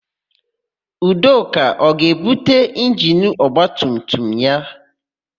Udoka ọ ga-ebute injini ọgbatumtum ya?